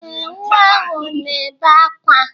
Ee, nwa ahụ na-ebe akwa.